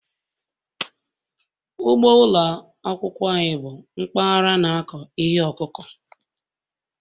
Ugbo ụlọ akwụkwọ bụ mpaghara na-akụ ihe ọkụkụ